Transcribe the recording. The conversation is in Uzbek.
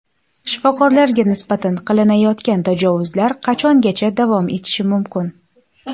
Shifokorlarga nisbatan qilinayotgan tajovuzlar qachongacha davom etishi mumkin?